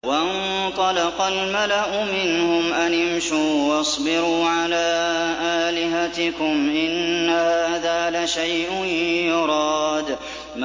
وَانطَلَقَ الْمَلَأُ مِنْهُمْ أَنِ امْشُوا وَاصْبِرُوا عَلَىٰ آلِهَتِكُمْ ۖ إِنَّ هَٰذَا لَشَيْءٌ يُرَادُ